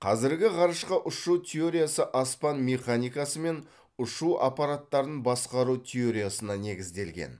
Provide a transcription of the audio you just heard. қазіргі ғарышқа ұшу теориясы аспан механикасы мен ұшу аппараттарын басқару теориясына негізделген